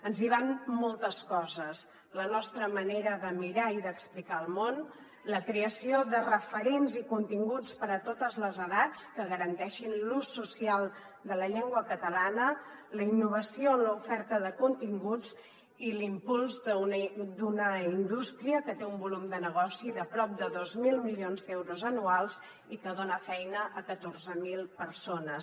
ens hi van moltes coses la nostra manera de mirar i d’explicar el món la creació de referents i continguts per a totes les edats que garanteixin l’ús social de la llengua catalana la innovació en l’oferta de continguts i l’impuls d’una indústria que té un volum de negoci de prop de dos mil milions d’euros anuals i que dona feina a catorze mil persones